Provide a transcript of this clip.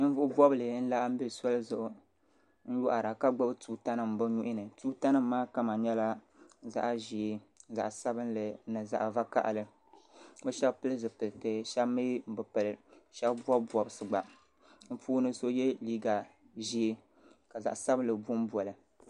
Ninvuɣubɔbili n-laɣim be soli zuɣu m-yɔhira ka gbubi tuutanima bɛ nuhi ni tuutanima maa kama nyɛla zaɣ'ʒee zaɣ'sabinli ni zaɣ'vakahili bɛ shɛba pili zipiliti shɛba mi bɛ pili shɛba bɔbi bɔbisi gba bɛ puuni so ye liiga ʒee ka zaɣ'sabinli bombo li.